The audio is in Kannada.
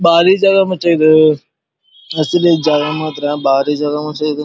ಬಾರಿ ಜಾಗ ಮುಚ್ಚ ಇದು ಅಸಲಿ ಜಾಗ ಮಾತ್ರ ಬಾರಿ ಜಾಗ ಮಚ್ಚ ಇದು--